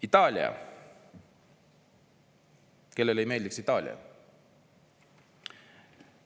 Itaalia – kellele ei meeldiks Itaalia?